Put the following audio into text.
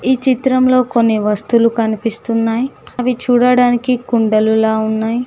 ఈ చిత్రంలో కొన్ని వస్తువులు కనిపిస్తున్నాయి అవి చూడడానికి కుండలులా ఉన్నాయి.